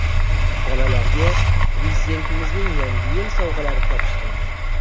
Bolalarga Prezidentimizning Yangi yil sovg‘alari topshirildi.